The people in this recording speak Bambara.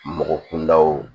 Mɔgɔ kundaw